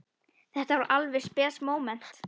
Þetta var alveg spes móment.